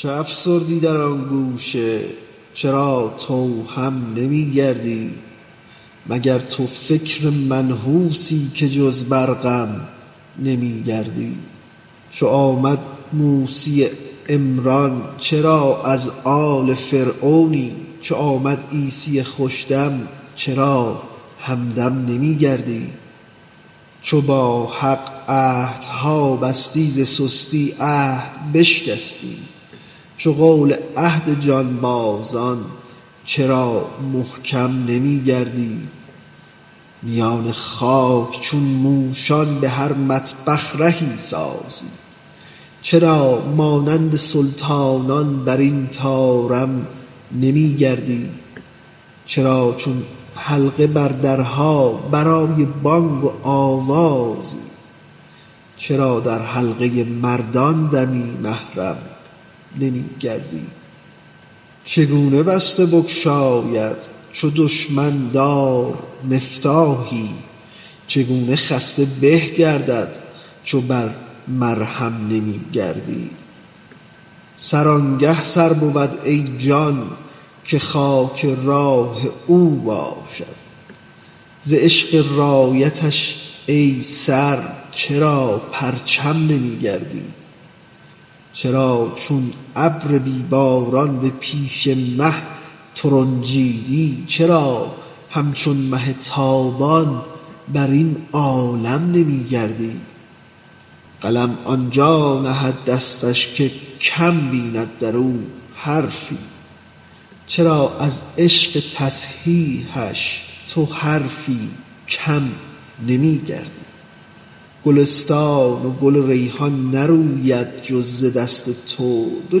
چه افسردی در آن گوشه چرا تو هم نمی گردی مگر تو فکر منحوسی که جز بر غم نمی گردی چو آمد موسی عمران چرا از آل فرعونی چو آمد عیسی خوش دم چرا همدم نمی گردی چو با حق عهدها بستی ز سستی عهد بشکستی چو قول عهد جانبازان چرا محکم نمی گردی میان خاک چون موشان به هر مطبخ رهی سازی چرا مانند سلطانان بر این طارم نمی گردی چرا چون حلقه بر درها برای بانگ و آوازی چرا در حلقه مردان دمی محرم نمی گردی چگونه بسته بگشاید چو دشمن دار مفتاحی چگونه خسته به گردد چو بر مرهم نمی گردی سر آنگه سر بود ای جان که خاک راه او باشد ز عشق رایتش ای سر چرا پرچم نمی گردی چرا چون ابر بی باران به پیش مه ترنجیدی چرا همچون مه تابان بر این عالم نمی گردی قلم آن جا نهد دستش که کم بیند در او حرفی چرا از عشق تصحیحش تو حرفی کم نمی گردی گلستان و گل و ریحان نروید جز ز دست تو دو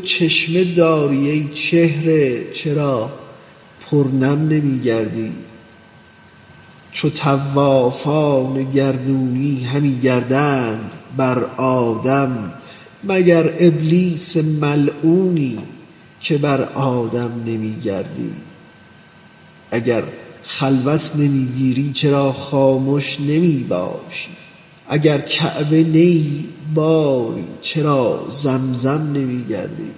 چشمه داری ای چهره چرا پرنم نمی گردی چو طوافان گردونی همی گردند بر آدم مگر ابلیس ملعونی که بر آدم نمی گردی اگر خلوت نمی گیری چرا خامش نمی باشی اگر کعبه نه ای باری چرا زمزم نمی گردی